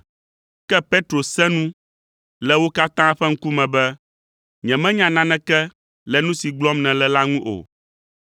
Ke Petro sẽ nu le wo katã ƒe ŋkume be, “Nyemenya naneke le nu si gblɔm nèle la ŋu o.”